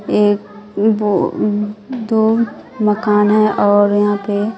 एक ओ दो मकान है और यहां पे--